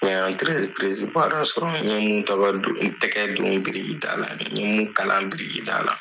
N ɲe dɔ sɔrɔ, n ɲe munnu ta ka a don n tɛgɛ don biriki daa la, n ɲe mun kalan biriki daa la